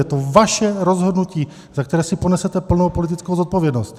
Je to vaše rozhodnutí, za které si ponesete plnou politickou zodpovědnost.